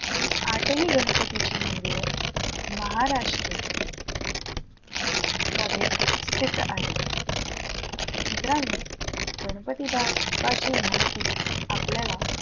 हि आठही गणपतीची मंदिरं महाराष्ट्र मध्ये स्थित आहे. मित्रांनो गणपती बाप्पाची महती आपल्याला,